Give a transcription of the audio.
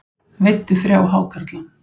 Veiddi þrjá hákarla